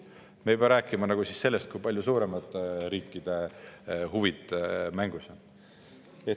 Me ei pea isegi rääkima sellest, kui palju suuremate riikide huvid mängus on.